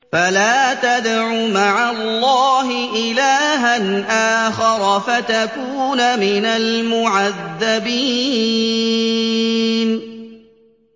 فَلَا تَدْعُ مَعَ اللَّهِ إِلَٰهًا آخَرَ فَتَكُونَ مِنَ الْمُعَذَّبِينَ